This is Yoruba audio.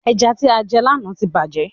Ẹja tí a jẹ lànà tí bàjé